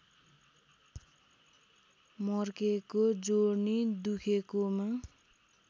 मर्केको जोर्नी दुखेकोमा